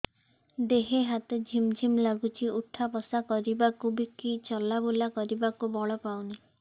ଦେହେ ହାତ ଝିମ୍ ଝିମ୍ ଲାଗୁଚି ଉଠା ବସା କରିବାକୁ କି ଚଲା ବୁଲା କରିବାକୁ ବଳ ପାଉନି